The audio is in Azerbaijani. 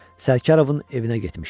Sərkarovun evinə getmişdi.